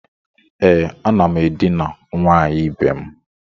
E, a nam edina nwanyi ibe'm.